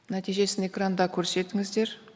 нәтижесін экранда көрсетіңіздер